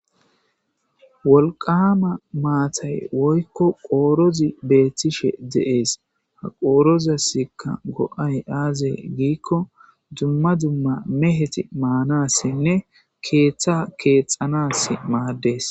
Wolqama maattay woyikko qorozi beettishshe de"es ha qorozassi q Go"ay aze gizayissa gidikko meheti qoroza miidi ordana mala maades